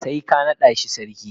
sai ka nada shi sarki.